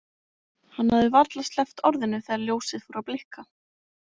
Hann hafði varla sleppt orðinu þegar ljósið fór að blikka.